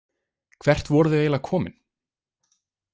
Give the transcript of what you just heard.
Hvert voru þau eiginlega komin?